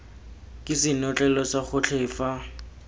ke senotlele sa gotlhe fa